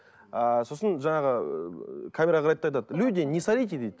ыыы сосын жаңағы ыыы камераға қарайды да айтады люди не сорите дейді